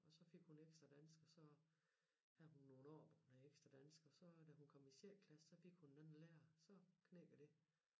Så fik hun ekstra dansk og så havde hun nogle år med ekstra dansk og så da kom hun i sjette klasse så fik hun en anden lærer og så knækkede det